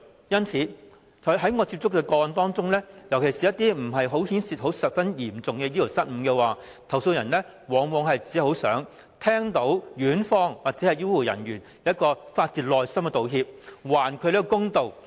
因此，在我接觸的個案中，尤其是一些牽涉不十分嚴重醫療失誤的個案，投訴人往往只想聽到院方或醫護人員發自內心的道歉，還他們一個公道。